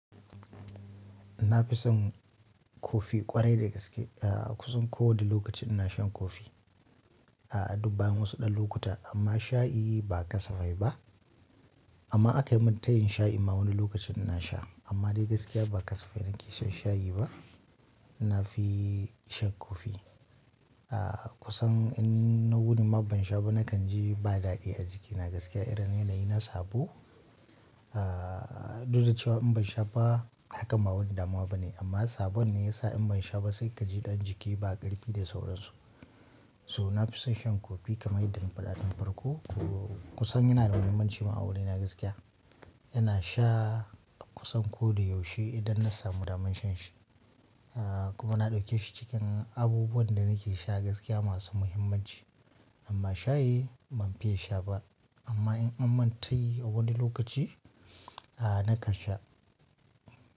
Na fi son kofi ƙwarai da gaske. A kusan ko wani lokaci ina shan kofi. A dubba bayan wasu ɗan lokuta amma shayi ba kasafai ba. Amma in akai min tayin shayi ma wani lokacin ina sha amma dai gaskiya ba kasafai nake shan shayi ba. Na fi shan kofi. A kusan in na wuni ma ban sha ba nakan ji ba daɗi a jiki. Na gaskiya irin yanayi na sabo A duk da cewa in ban sha ba hakan ba wani damuwa bane amma sabon ne ya sa in ban sha ba sai ka ji ɗan jiki ba ƙarfi da sauransu. So na fi son shan coffee kamar yadda na faɗa tun farko. Ko kusan yana da muhimmanci ma a wurina gaskiya. Ina sha kusan ko da yaushe idan na samu daman shan shi a kuma na ɗauke shi cikin abubuwan da nake sha gaskiya masu muhimmanci. Amma shayi ban fiya sha ba amma in an min tayi a wani lokaci a nakan sha.